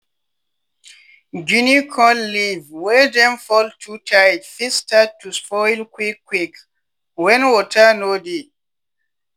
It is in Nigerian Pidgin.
guinea corn leave wey dem fold too tight fit start to spoil quick quick wen water no dey.